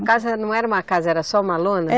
A casa não era uma casa, era só uma lona? É